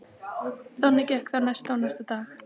Þannig gekk það næsta og næsta dag.